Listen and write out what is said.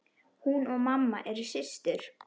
Hún og mamma eru systur.